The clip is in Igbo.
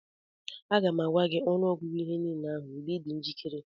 Aga m agwa gị ọnụọgụgụ ihe niile ndị ahụ mgbe ị dị njikere